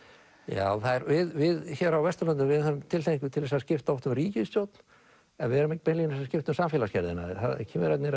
já við hér á Vesturlöndum höfum tilhneigingu til að skipta oft um ríkisstjórn en við erum ekki beinlínis að skipta um samfélagsgerðina Kínverjarnir